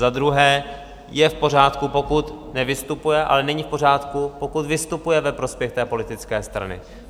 Za druhé, je v pořádku, pokud nevystupuje, ale není v pořádku, pokud vystupuje ve prospěch té politické strany.